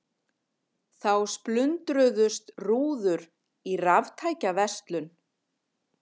Þá splundruðust rúður í raftækjaverslun